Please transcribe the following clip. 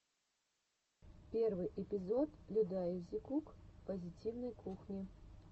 первый эпизод людаизикук позитивной кухни